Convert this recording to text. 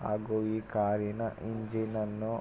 ಹಾಗು ಈ ಕಾರಿನ ಇಂಜಿನ್ ನನ್ನು--